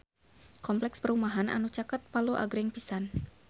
Kompleks perumahan anu caket Palu agreng pisan